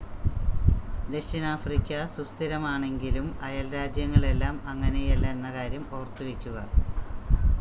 ദക്ഷിണാഫ്രിക്ക സുസ്ഥിരമാണെങ്കിലും അയൽരാജ്യങ്ങളെല്ലാം അങ്ങനെയല്ല എന്ന കാര്യം ഓർത്തുവെക്കുക